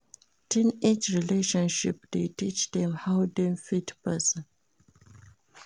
Teenage relationship de teach dem how dem fit trust persin